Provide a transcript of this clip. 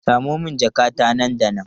Samo min jakata nan da nan!